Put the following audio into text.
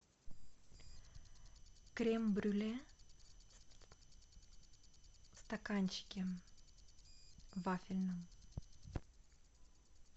крем брюле в стаканчике вафельном